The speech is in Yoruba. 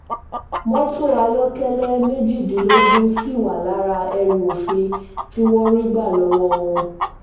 mọ́tò ayọ́kẹ́lẹ́ méjìdínlógún ṣì wà lára ẹrù òfin tí wọ́n rí gbà lọ́wọ́ wọn